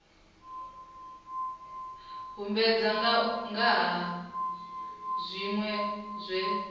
humbudza nga ha zwinwe zwe